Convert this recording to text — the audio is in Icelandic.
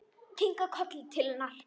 Kinkar kolli til hennar.